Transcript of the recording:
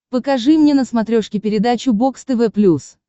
покажи мне на смотрешке передачу бокс тв плюс